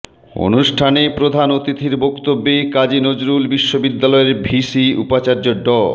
অনুষ্ঠানে প্রধান অতিথির বক্তব্যে কাজী নজরুল বিশ্ববিদ্যালয়ের ভিসি উপাচার্য ড